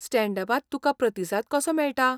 Stand अपांत तुका प्रतिसाद कसो मेळटा?